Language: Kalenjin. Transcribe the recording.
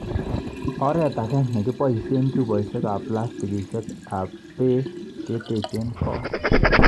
Oreet ake ne kiboisie chupoisiekab plastikisiekab beek keteech koot.